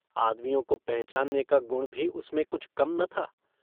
आदमियों को पहचानने का गुण भी उसमें कुछ कम न था।